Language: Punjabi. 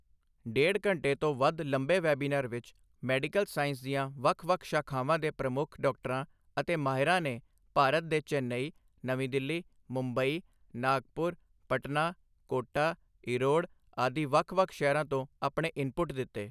ਡੇਢ ਘੰਟੇ ਤੋਂ ਵੱਧ ਲੰਬੇ ਵੈਬੀਨਾਰ ਵਿੱਚ, ਮੈਡੀਕਲ ਸਾਇੰਸ ਦੀਆਂ ਵੱਖ ਵੱਖ ਸ਼ਾਖਾਵਾਂ ਦੇ ਪ੍ਰਮੁੱਖ ਡਾਕਟਰਾਂ ਅਤੇ ਮਾਹਿਰਾਂ ਨੇ ਭਾਰਤ ਦੇ ਚੇਨਈ, ਨਵੀਂ ਦਿੱਲੀ, ਮੁੰਬਈ, ਨਾਗਪੁਰ, ਪਟਨਾ, ਕੋਟਾ, ਈਰੋਡ ਆਦਿ ਵੱਖ ਵੱਖ ਸ਼ਹਿਰਾਂ ਤੋਂ ਆਪਣੇ ਇਨਪੁੱਟ ਦਿੱਤੇ।